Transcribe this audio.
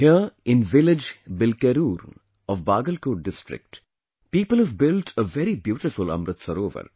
Here in the village 'Bilkerur' of Bagalkot district, people have built a very beautiful Amrit Sarovar